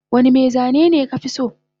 Wanda mai zani me ka fi so